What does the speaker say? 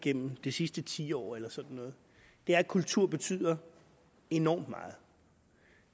gennem det sidste tiår eller sådan noget er at kultur betyder enormt meget